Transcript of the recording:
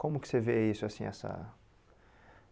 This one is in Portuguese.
Como que você vê isso assim assado?